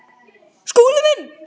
Skúli minn!